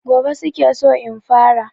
Gobe su ke so in fara.